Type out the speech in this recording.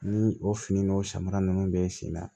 Ni o fini n'o samara nunnu bɛ sen na